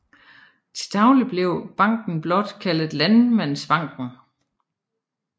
Til daglig blev banken blot kaldet Landmandsbanken